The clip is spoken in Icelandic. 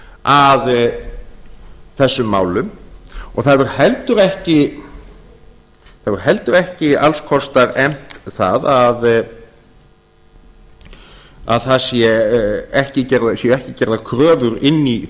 að þessum málum og það hefur heldur ekki alls kostar efnt það að það séu ekki gerðar kröfur inn í